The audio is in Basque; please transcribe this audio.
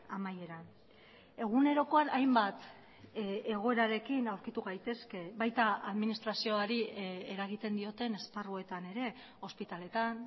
amaieran egunerokoan hainbat egoerarekin aurkitu gaitezke baita administrazioari eragiten dioten esparruetan ere ospitaletan